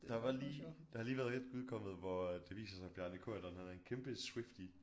Der var lige der har lige været et udkommet hvor at det viser sig Bjarne Corydon han er en kæmpe Swiftie